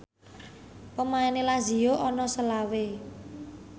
pemaine Lazio ana selawe